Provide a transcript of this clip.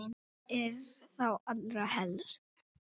Það er þá allra helst!